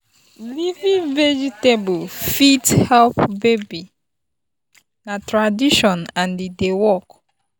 leafy veg fit help baby na tradition and e dey work.